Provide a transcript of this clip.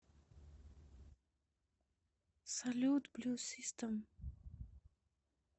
салют блю систем